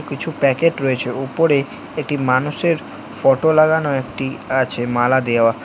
কিছু প্যাকেট রয়েছে উপরে একটি মানুষের ফটো লাগানো একটি আছে মালা দেওয়া।